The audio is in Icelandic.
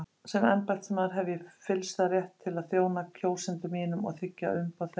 Sem embættismaður hef ég fyllsta rétt til að þjóna kjósendum mínum og þiggja umboð þeirra.